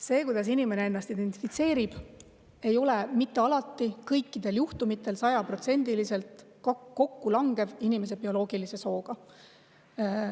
See, kuidas inimene ennast identifitseerib, ei ole alati kõikidel juhtumitel 100%-liselt kokkulangev inimese bioloogilise sooga.